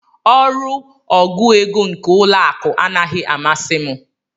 Ọrụ ọgụ égo nke ụlọ akụ anaghị amasi m.